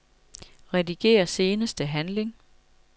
Rediger seneste handling.